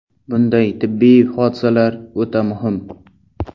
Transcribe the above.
Bunday tibbiy hodisalar o‘ta muhim”.